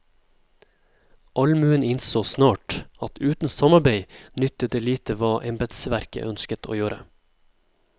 Allmuen innså snart at uten samarbeid nyttet det lite hva embetsverket ønsket å gjøre.